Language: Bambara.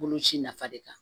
Boloci nafa de kan